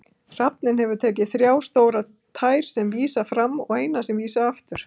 Hrafninn hefur þrjá stórar tær sem vísa fram og eina sem vísar aftur.